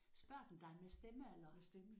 Spørger den dig med stemme eller?